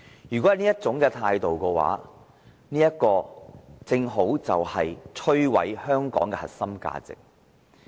如果要採取這種態度，就正好摧毀香港的核心價值。